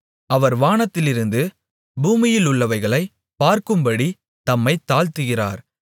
அவர் வானத்திலிருந்து பூமியிலுமுள்ளவைகளைப் பார்க்கும்படி தம்மைத் தாழ்த்துகிறார்